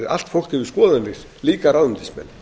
allt fólk hefur skoðanir líka ráðuneytismenn